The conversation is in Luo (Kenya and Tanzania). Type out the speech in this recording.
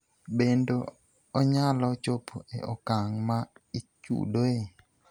Bendo onyalo chopo e okang' ma ichudoe?